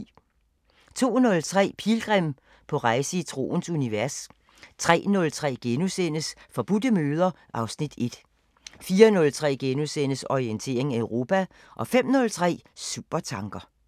02:03: Pilgrim – på rejse i troens univers 03:03: Forbudte møder (Afs. 1)* 04:03: Orientering Europa * 05:03: Supertanker